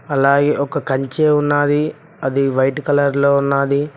అలాగే ఒక కంచె ఉన్నది అది వైట్ కలర్ లో ఉన్నది.